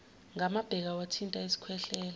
ngamabheka wathinta isikhwehlela